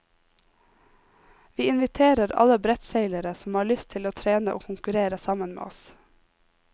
Vi inviterer alle brettseilere som har lyst til å trene og konkurrere sammen med oss.